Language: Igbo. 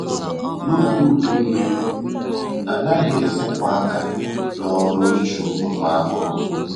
N'oge udu mmiri, anaghị esepụ àkà n'ọrụ ichụ ụmụ ahụhụ